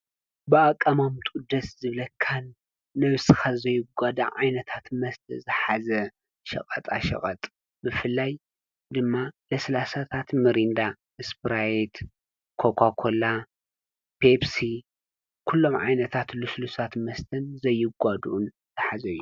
በኣቃማምጡኡ ደሰ ዝብለካን ንነብስካ ዘይጎዳእ ዓይነት መስተ ዝሓዘ ሸቀጣ ሽቀጥ ብፍላይ ድማ ለሰላሳ፣ ሚሪንዳ,፣ኮካኮላ፣ ፔፕሲ፣ ስፕራይት ኩሎም ዓይነታት ሉሱሉሳት መስተ ዘይጓዱኡን ዝሓዘ እዩ::